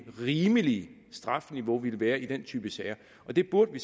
rimelige strafniveau vil være i den type sager det burde vi